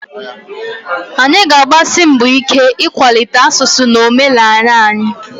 Anyị ga-agbasi mbọ ike ịkwalite asụsụ na omenala anyị